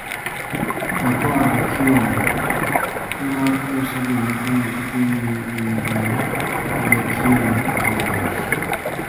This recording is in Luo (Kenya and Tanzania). To koadekielo, tim mar ker Salim wacho ni gidhi nyime gi migawo adekielo e loch.